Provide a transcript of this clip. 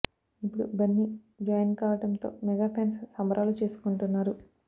ఇప్పుడు బన్నీ జాయిన్ కావడం తో మెగా ఫాన్స్ సంబరాలు చేసుకుంటున్నారు